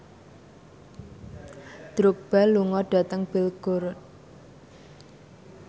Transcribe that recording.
Drogba lunga dhateng Belgorod